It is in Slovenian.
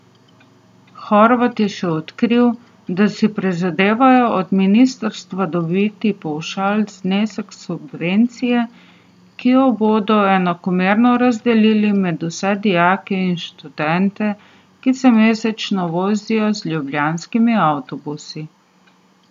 Horvat je še odkril, da si prizadevajo od ministrstva dobiti pavšalni znesek subvencije, ki jo bodo enakomerno razdelili med vse dijake in študente, ki se mesečno vozijo z ljubljanskimi avtobusi.